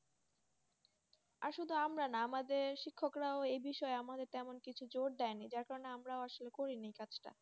আর শুধু আমরা না আমাদের শিক্ষকরাও এই বিষয়ে তেমন কিছু জোর দেয়নি। যার কারণে আমরা আসলে করিনি কাজটা